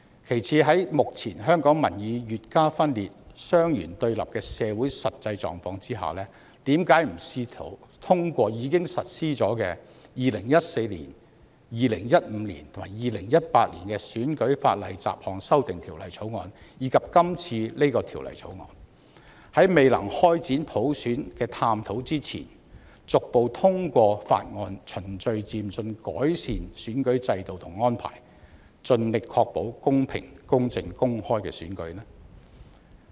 其次，在目前香港民意越加分裂、雙元對立的社會實際狀況下，為何不試圖通過已實施的2014年、2015年、2018年的《選舉法例條例草案》，以及今次的《條例草案》，在未能開展普選探討之前，逐步通過法案循序漸進改善選舉制度及安排，盡力確保公平、公正、公開的選舉？